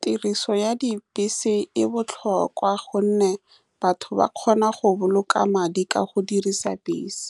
Tiriso ya dibese e botlhokwa ka gonne batho ba kgona go boloka madi ka go dirisa bese,